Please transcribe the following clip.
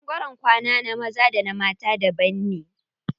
Ɓangaren kwana na maza da na mata daban ne.